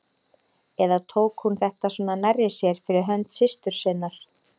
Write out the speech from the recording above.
Eða tók hún þetta svona nærri sér fyrir hönd systur sinnar?